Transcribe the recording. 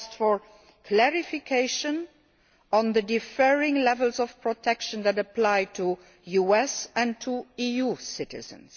I asked for clarifications on the differing levels of protection that apply to US and EU citizens.